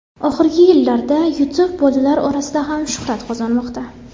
Oxirgi yillarda Youtube bolalar orasida ham shuhrat qozonmoqda.